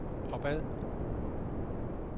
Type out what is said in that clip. opad